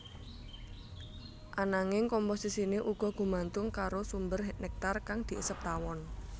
Ananging komposisiné uga gumantung karo sumber néktar kang diisep tawon